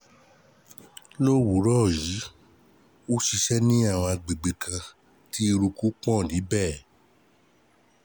Lówùúrọ̀ yìí, ó ṣiṣẹ́ ní agbègbè kan tí eruku pọ̀ níbẹ̀